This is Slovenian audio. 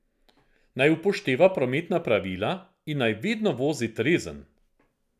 Naj upošteva prometna pravila in naj vedno vozi trezen.